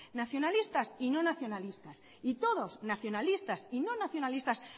nacionalistas y no nacionalistas y todos nacionalistas y no nacionalistas